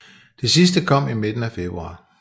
Det sidste kom i midten af februar